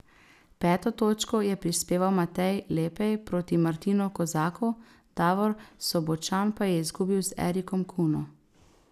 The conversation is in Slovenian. Peto točko je prispeval Matej Lepej proti Martinu Kozaku, Davor Sobočan pa je izgubil z Erikom Kuno.